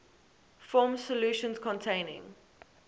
form solutions containing